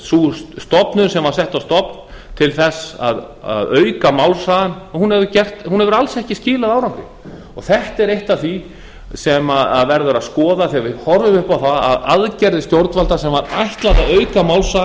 sú stofnun sem var sett á fót til að auka málshraðann hefur alls ekki skilað árangri þetta er eitt af því sem að verður að skoða þegar við horfum upp á að aðgerðir stjórnvalda sem var ætlað að auka